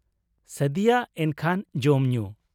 ᱥᱟᱫᱤᱭᱟ ᱮᱱᱠᱷᱟᱱ, ᱡᱚᱢ ᱧᱩ ?